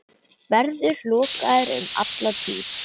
Verður lokaður um alla tíð.